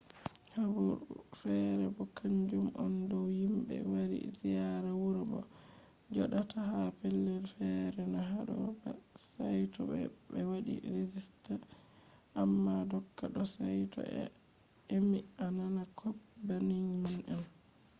habaru fere bo kanjum on dow himɓe wari ziyaara wuro bo je joɗata ha pellel fere na haɗo ba saito ɓe waɗi regista. amma doka ɗo saito a emi a nana kop banning man on